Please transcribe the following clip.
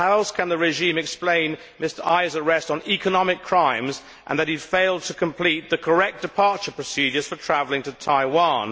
How else can the regime explain Mr Ai's arrest on economic crimes and because he failed to complete the correct departure procedures for travelling to Taiwan.